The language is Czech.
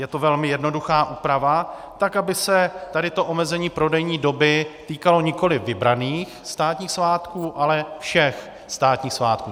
Je to velmi jednoduchá úprava tak, aby se tady to omezení prodejní doby týkalo nikoli vybraných státních svátků, ale všech státních svátků.